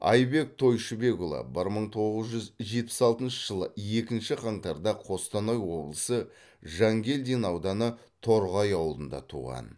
айбек тойшыбекұлы бір мың тоғыз жүз жетпіс алтыншы жылы екінші қаңтарда қостанай облысы жангелдин ауданы торғай ауылында туған